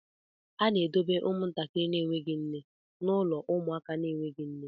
A na-edobe ụmụntakịrị na-enweghị nne n'ụlọ ụmụaka na-enweghị nne